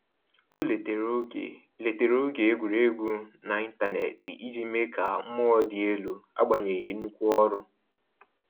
O letere oge letere oge egwuregwu na intaneti iji mee ka mmụọ dị elu agbanyeghi nnukwu ọrụ